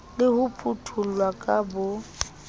le ho phuthollwa ka bo